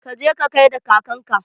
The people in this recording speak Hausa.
Ka je ka gaida kakan ka!